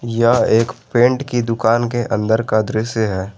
यह एक पेंट की दुकान के अंदर का दृश्य है।